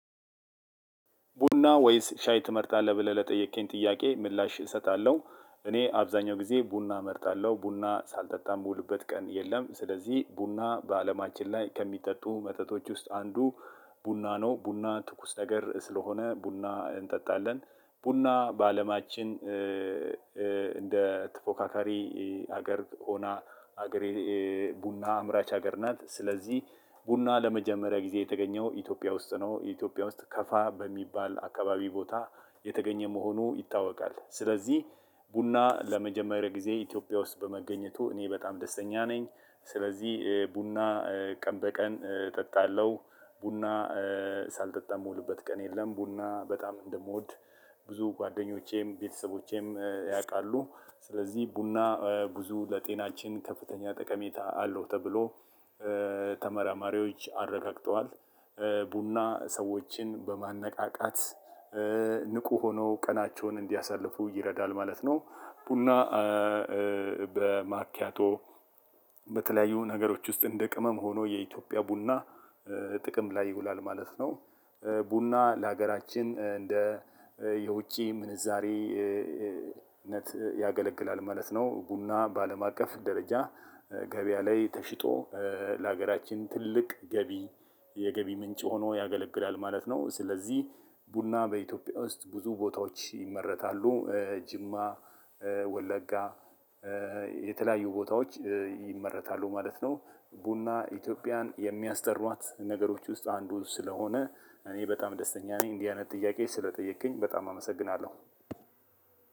"ቡና ወይስ ሻይ ትመርጣለህ?" ብለህ ለጠየከኝ ጥያቄ ምላሽ እሰጣለሁ። እኔ አብዛኛው ጊዜ ቡና እመርጣለሁ። ቡና ሳልጠጣ የምውልበት ቀን የለም። ስለዚህ ቡና በአለማችን ላይ ከሚጠጡ መጠጦች ውስጥ አንዱ ቡና ነው። ቡና ትኩስ ነገር ስለሆነ ቡና እንጠጣለን። ቡና በአለማችን እንደ ትፎካካሪ ሀገር ሆና ሀገሬ ቡና አምራች ሀገር ናት። ስለዚህ ቡና ለመጀመሪያ ጊዜ የተገኘው ኢትዮጵያ ውስጥ ነው። ኢትዮጵያ ውስጥ ከፋ በሚባል አካባቢ ቦታ የተገኘ መሆኑ ይታወቃል። ስለዚህ ቡና ለመጀመሪያ ጊዜ ኢትዮጵያ ውስጥ በመገኘቱ እኔ በጣም ደስተኛ ነኝ። ስለዚህ ቡና ቀን በቀን እጠጣለሁ። ቡና ሳልጠጣ የምውልበት ቀን የለም። ቡና በጣም እንደምወድ ብዙ ጓደኞቼም ቤተሰቦቼም ያውቃሉ። ስለዚህ ቡና ብዙ ለጤናችን ከፍተኛ ጠቀሜታ አለው ተብሎ ተመራማሪዎች አረጋግጠዋል። ቡና ሰዎችን በማነቃቃት ንቁ ሆነው ቀናቸውን እንዲያሳልፉ ይረዳል ማለት ነው። ቡና በማኪያቶ፣ በተለያዩ ነገሮች ውስጥ እንደ ቅመም ሆኖ የኢትዮጵያ ቡና ጥቅም ላይ ይውላል ማለት ነው። ቡና ለሀገራችን እንደ የውጪ ምንዛሬነት ያገለግላል ማለት ነው። ቡና በአለም አቀፍ ደረጃ ገበያ ላይ ተሽጦ ለሀገራችን ትልቅ ገቢ የገቢ ምንጭ ሆኖ ያገለግላል ማለት ነው። ስለዚህ ቡና በኢትዮጵያ ውስጥ ብዙ ቦታዎች ይመረታሉ። ጅማ፣ ወለጋ፣ የተለያዩ ቦታዎች ይመረታሉ ማለት ነው። ቡና ኢትዮጵያን የሚያስጠሯት ነገሮች ውስጥ አንዱ ስለሆነ እኔ በጣም ደስተኛ ነኝ። እንዲህ አይነት ጥያቄ ስለጠየቅከኝ በጣም አመሰግናለሁ።